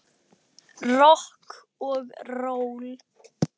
Það gengur hægt og rólega.